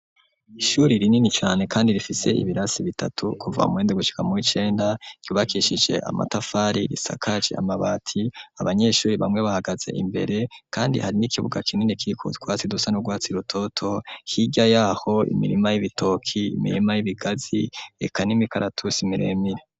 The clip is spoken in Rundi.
Ishuri rinini cane kandi rifise ibirasi bitatu kuva muw'indwi gushika muw'icenda ,ryubakishije amatafari risakaje amabati ,abanyeshuri bamwe bahagaze imbere kandi hari n'ikibuga kinini kiriko utwatsi dusa n'ubwatsi rutoto, hirya yaho imirima y'ibitoki, imirima y'ibigazi, eka n'imikaratusi miremire.